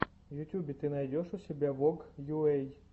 в ютубе ты найдешь у себя вог йуэй